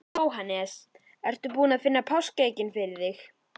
Jóhannes: Ertu búin að finna páskaeggin fyrir þig?